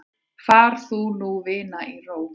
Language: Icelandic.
Far þú nú vina í ró.